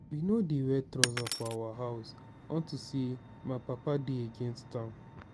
we no dey wear trouser for our house unto say my papa dey against am